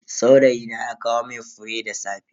Saurayina ya kawo mun fure da safe.